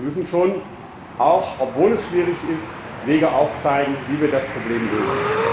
Wir müssen schon auch obwohl es schwierig ist Wege aufzeigen, wie wir das Problem lösen.